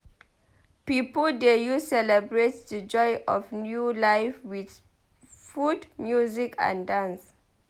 Pipo dey use celebrate di joy of new life with food music and dance.